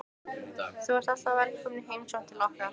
Þú ert alltaf velkomin í heimsókn til okkar.